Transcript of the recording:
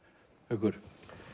haukur